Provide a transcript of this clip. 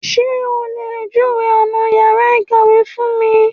Sé o lè júwèé ọ̀nà yàrá ìsanwó fún mi?